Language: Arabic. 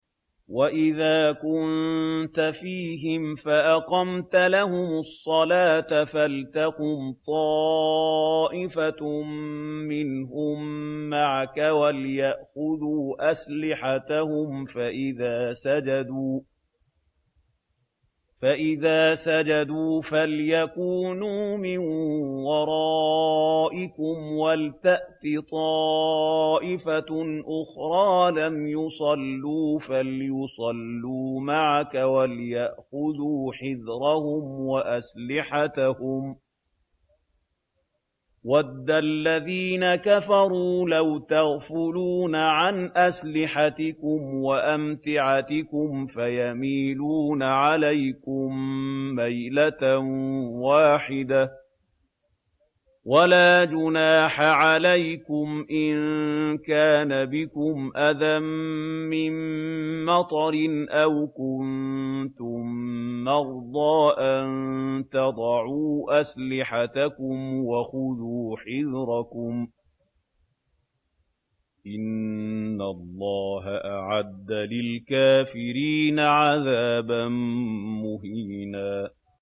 وَإِذَا كُنتَ فِيهِمْ فَأَقَمْتَ لَهُمُ الصَّلَاةَ فَلْتَقُمْ طَائِفَةٌ مِّنْهُم مَّعَكَ وَلْيَأْخُذُوا أَسْلِحَتَهُمْ فَإِذَا سَجَدُوا فَلْيَكُونُوا مِن وَرَائِكُمْ وَلْتَأْتِ طَائِفَةٌ أُخْرَىٰ لَمْ يُصَلُّوا فَلْيُصَلُّوا مَعَكَ وَلْيَأْخُذُوا حِذْرَهُمْ وَأَسْلِحَتَهُمْ ۗ وَدَّ الَّذِينَ كَفَرُوا لَوْ تَغْفُلُونَ عَنْ أَسْلِحَتِكُمْ وَأَمْتِعَتِكُمْ فَيَمِيلُونَ عَلَيْكُم مَّيْلَةً وَاحِدَةً ۚ وَلَا جُنَاحَ عَلَيْكُمْ إِن كَانَ بِكُمْ أَذًى مِّن مَّطَرٍ أَوْ كُنتُم مَّرْضَىٰ أَن تَضَعُوا أَسْلِحَتَكُمْ ۖ وَخُذُوا حِذْرَكُمْ ۗ إِنَّ اللَّهَ أَعَدَّ لِلْكَافِرِينَ عَذَابًا مُّهِينًا